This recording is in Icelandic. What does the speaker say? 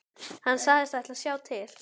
Hann sagðist ætla að sjá til.